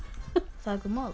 þak og mold